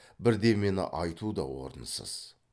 бірдемені айту да орынсыз